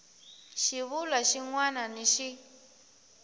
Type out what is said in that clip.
xivulwa xin wana ni xin